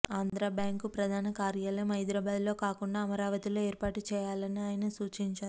ఆంధ్రాబ్యాంకు ప్రధాన కార్యాలయం హైదరాబాద్లో కాకుండా అమరావతిలో ఏర్పాటు చేయాలని ఆయన సూచించారు